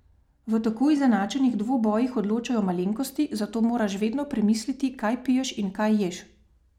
V tako izenačenih dvobojih odločajo malenkosti, zato moraš vedno premisliti, kaj piješ in kaj ješ.